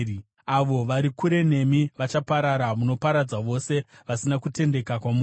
Avo vari kure nemi vachaparara; munoparadza vose vasina kutendeka kwamuri.